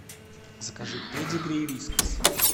закажи педигри и вискас